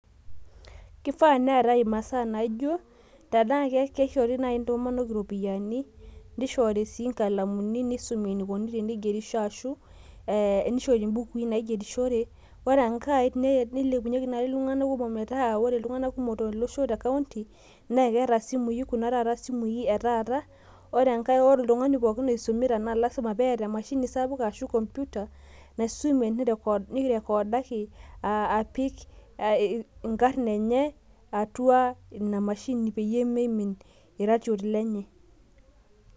Kifaa neetae imasaa naij o kishaa naaji nishori intomonok iropiyiani nishori sii inkalamuni ombukui naigerishore, ore enkae nilepunyeki naaji iltung'anak kumok tolosho meetaa ketaa kuna simui sapukin oshitaata nayetuo, ore oltung'ani oisumi naa ilasima pee etaa emashini sapuk ashu komputa nirekoodaki esimu pee mimin ake ilo ratioti lenye.